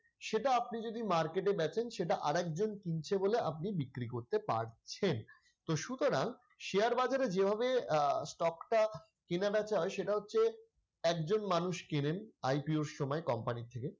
সেটা আপনি যদি market এ বেচেন সেটা আরেকজন কিনছে বলে আপনি বিক্রি করতে পারছেন, তো সুতরাং share বাজারে যেভাবে আহ stock টা কেনাবেচা হয় সেটা হচ্ছে একজন মানুষ কেনেন IPO র সময় company থেকে ।